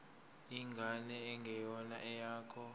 ingane engeyona eyakho